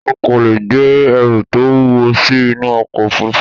O kò leè gbé ẹrù tó wúwo sí inú ọkọ̀ òfurufú